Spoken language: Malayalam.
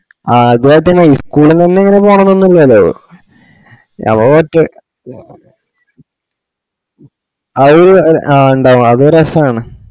അതു കുഴപ്പല്ല school ന്നെന്നെ ഇങ്ങനെ പോണൊന്നുല്ലലോ ഞമ്മ മറ്റേ അത് ഇണ്ടാവും അതു ഒരു രസാണ്